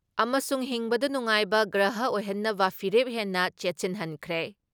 ꯑꯃꯁꯨꯡ ꯍꯤꯡꯕꯗ ꯅꯨꯡꯉꯥꯏꯕ ꯒ꯭ꯔꯤꯍ ꯑꯣꯏꯍꯟꯅꯕ ꯐꯤꯔꯦꯞ ꯍꯦꯟꯅ ꯆꯠꯁꯤꯟꯍꯟꯈ꯭ꯔꯦ ꯫